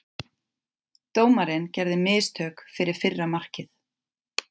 Dómarinn gerði mistök fyrir fyrra markið.